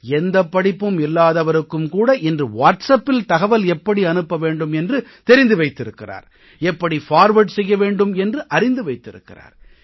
எந்தப் படிப்பும் இல்லாதவருக்குக் கூட இன்று வாட்ஸ்அப்பில் தகவல் எப்படி அனுப்ப வேண்டும் என்று தெரிந்து வைத்திருக்கிறார் எப்படி ஃபார்வர்ட் செய்ய வேண்டும் என்று அறிந்து வைத்திருக்கிறார்